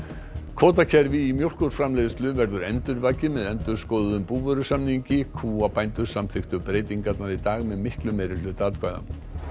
kvótakerfi í mjólkurframleiðslu verður endurvakið með endurskoðuðum búvörusamningi kúabændur samþykktu breytingarnar í dag með miklum meirihluta atkvæða